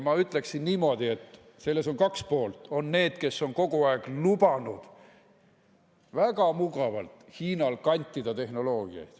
Ma ütleksin niimoodi, et on kaks poolt: on need, kes on kogu aeg lubanud väga mugavalt Hiinal kantida tehnoloogiaid.